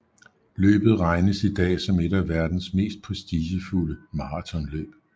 Løbet regnes i dag som et af verdens mest prestigefulde maratonløb